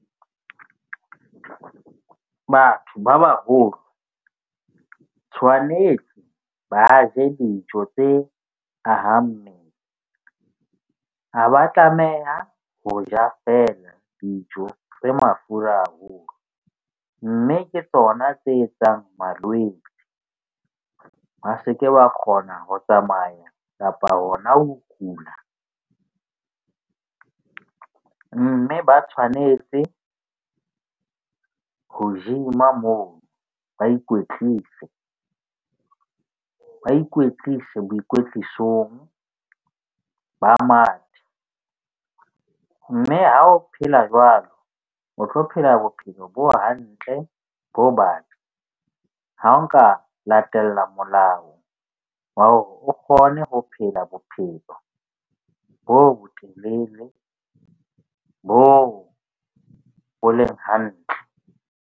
Batho ba baholo tshwanetse ba je dijo tse ahang mmele. Ha ba tlameha ho ja, fela dijo tse mafura haholo. Mme ke tsona tse etsang malwetse. Ba se ke wa kgona ho tsamaya kapa hona ho kula, mme ba tshwanetse ho gym-a moo, ba ikwetlise, ba ikwetlise boikwetlisong ba mathe. Mme ha o phela jwalo, o tlo phela bophelo bo hantle bo ha o nka latela molao wa hore o kgone ho phela bophelo bo bo telele bo bo leng hantle.